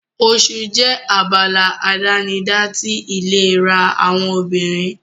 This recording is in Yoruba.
Oṣù jẹ́ abala àdánidá ti ìlera àwọn obìnrin.